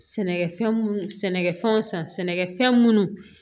Sɛnɛkɛfɛn munnu sɛnɛkɛfɛnw san sɛnɛkɛfɛn munnu